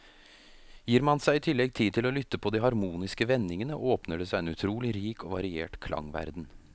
Gir man seg i tillegg tid til å lytte på de harmoniske vendingene, åpner det seg en utrolig rik og variert klangverden.